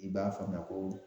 I b'a faamuya koo